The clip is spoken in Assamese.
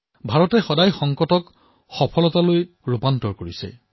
ভাৰতে সদায়েই সংকটক সফলতাৰ চিৰিলৈ পৰিৱৰ্তিত কৰিছে